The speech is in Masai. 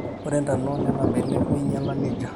ore ntona oonena benek neinyala nejia